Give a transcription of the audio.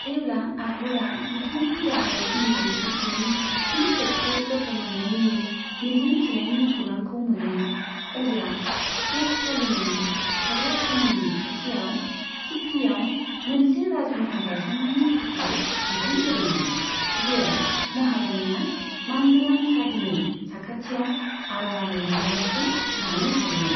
जेब्ला आकबरा बिथांनि गाहाय हिन्दु बिसिनि फिन खेबसे गथ' मोन्नायनि मिजिं थिनायनि खौरांखौ मोनो, अब्ला शेख सालीमनि थाग्रा थावनिनि खाथियाव सीकरीयाव मोनसे राजमहल गायसन्नायनि थाखाय बिथोन होदोंमोन, जेराव महारानीया मानगोनां साधुनि साखाथियाव आरामै रंजानायखौ लानो हायोमोन।